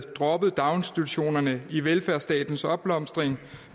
droppet daginstitutionerne i velfærdsstatens opblomstring og